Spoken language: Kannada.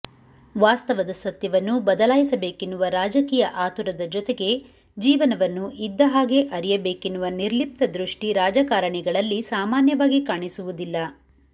ವಾಸ್ತವದ ಸತ್ಯವನ್ನು ಬದಲಾಯಿಸಬೇಕೆನ್ನುವ ರಾಜಕೀಯ ಅತುರದ ಜೊತೆಗೆ ಜೀವನವನ್ನು ಇದ್ದಹಾಗೆ ಅರಿಯಬೇಕೆನ್ನುವ ನಿರ್ಲಿಪ್ತದೃಷ್ಟಿ ರಾಜಕಾರಣಿಗಳಲ್ಲಿ ಸಾಮಾನ್ಯವಾಗಿ ಕಾಣಿಸುವುದಿಲ್ಲ